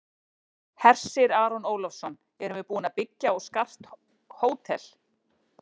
Hersir Aron Ólafsson: Erum við búin að byggja og skart hótel?